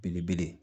Belebele